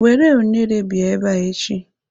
Were unere bịa ebe a echi.